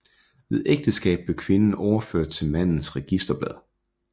Ved ægteskab blev kvinden overført til mandens registerblad